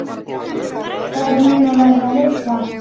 Þær munu verða hissa.